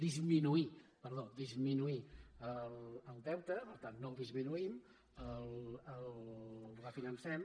disminuir perdó disminuir el deute per tant no el disminuïm el refinancem